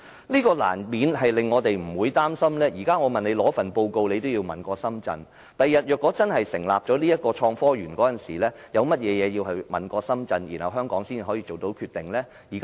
這樣難免令我們擔心，現時我要求拿取報告，政府也要請示深圳，日後如果真的成立創科園，香港一方還有甚麼要先請示深圳一方才能做決定的呢？